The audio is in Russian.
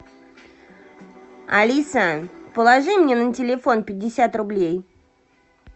алиса положи мне на телефон пятьдесят рублей